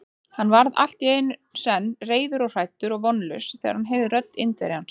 Hann varð allt í senn reiður og hræddur og vonlaus, þegar hann heyrði rödd Indverjans.